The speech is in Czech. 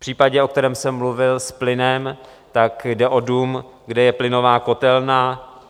V případě, o kterém jsem mluvil, s plynem, tak jde o dům, kde je plynová kotelna.